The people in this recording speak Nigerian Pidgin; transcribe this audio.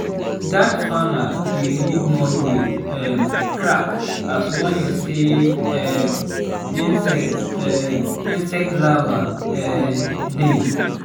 dat farmer dey read mud wey um crack as warning say um insect um insect larvae um dey.